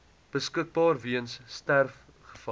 beskikbaar weens sterfgevalle